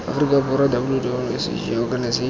afrika borwa www sahrc org